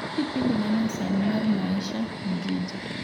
tug kipindi ma nyasani mar maisha mjiji